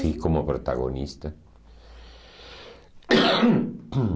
Fui como protagonista.